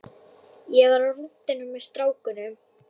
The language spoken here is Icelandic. Ég var á rúntinum með strákunum.